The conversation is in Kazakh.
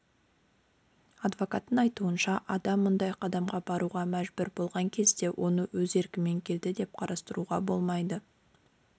адвокаттың айтуынша адам мұндай қадамға баруға мәжбүр болған кезде оны өз еркімен келді деп қарастыруға болмайды